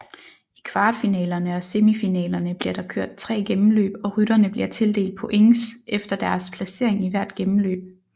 I kvartfinalerne og semifinalerne bliver der kørt tre gennemløb og rytterne bliver tildelt points efter deres placering i hvert gennemløb